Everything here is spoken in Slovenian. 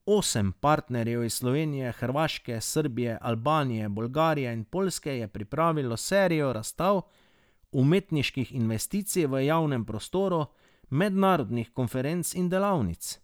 Osem partnerjev iz Slovenije, Hrvaške, Srbije, Albanije, Bolgarije in Poljske je pripravilo serijo razstav, umetniških intervencij v javnem prostoru, mednarodnih konferenc in delavnic.